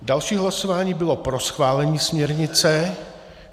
Další hlasování bylo pro schválení směrnice.